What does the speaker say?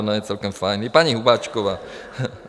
Ona je celkem fajn, i paní Hubáčková.